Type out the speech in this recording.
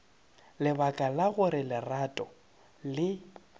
lebaka la gore lerato le